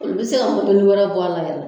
Olu bɛ se ka wɛrɛ bɔ a la yɛrɛ.